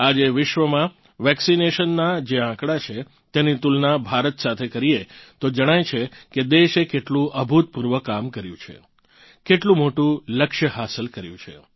આજે વિશ્વમાં વેક્સિનેશનનાં જે આંકડા છે તેની તુલના ભારત સાથે કરીએ તો જણાય છે કે દેશે કેટલું અભૂતપૂર્વ કામ કર્યું છે કેટલું મોટું લક્ષ્ય હાસલ કર્યું છે